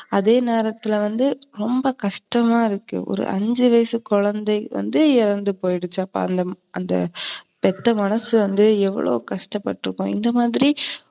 அதே நேரத்துல வந்து ரொம்ப கஷ்டமா இருக்கு ஒரு அஞ்சு வயசு குழந்தை வந்து இறந்துபோயிருச்சு. அப்ப அந்த பெத்த மனசு வந்து எவளோ கஷ்டப்பட்டுருக்கும் இந்தமாதிரி